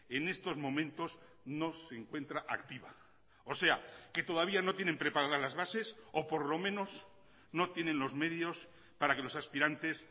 en estos momentos no se encuentra activa o sea que todavía no tienen preparada las bases o por lo menos no tienen los medios para que los aspirantes